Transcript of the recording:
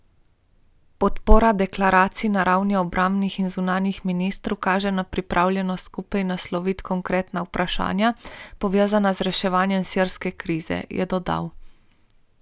Podpora deklaraciji na ravni obrambnih in zunanjih ministrov kaže na pripravljenost skupaj nasloviti konkretna vprašanja, povezana z reševanjem sirske krize, je dodal.